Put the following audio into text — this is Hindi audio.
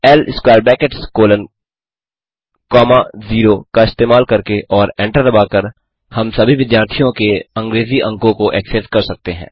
ल square brackets colon comma zero का इस्तेमाल करके और एंटर दबाकर हम सभी विद्यार्थियों के अंग्रेजी अंकों को एक्सेस कर सकते हैं